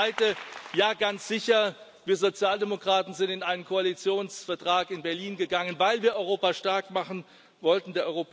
Und das Zweite Ja, ganz sicher, wir Sozialdemokraten sind in einen Koalitionsvertrag in Berlin gegangen, weil wir Europa stark machen wollten.